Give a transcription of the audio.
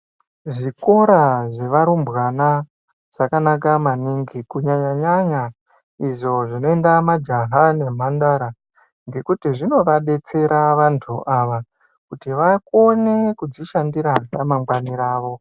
Zvikora zvevarumbwana zvakanaka maningi. Kunyanya-nyanya izvo zvinoenda majaha nemhandara. Ngekuti zvinovadetsera vantu ava kuti vakone kudzishandira ramangwani ravo.